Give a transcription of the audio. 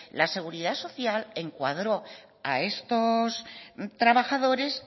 la seguridad social encuadró a estos trabajadores